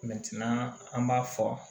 an b'a fɔ